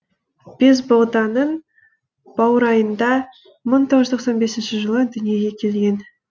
бесбоғданың баурайында мың тоғыз жүз тоқсан бесініші жылы дүниеге келген